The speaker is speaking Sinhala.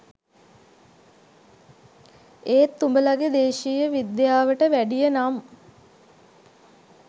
ඒත් උඹලගෙ දේශීය විද්‍යාවට වැඩිය නම්